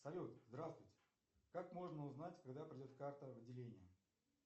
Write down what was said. салют здравствуйте как можно узнать когда придет карта в отделение